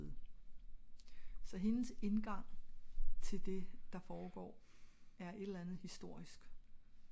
så hendes indgang til det der foregår er et eller andet historisk